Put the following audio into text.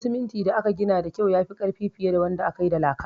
Gidan siminti da aka gina da kyau yafi ƙarfi fiye da wanda kayi da laka